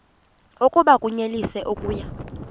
oku bakunyelise okuya